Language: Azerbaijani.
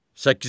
Səkkizinci.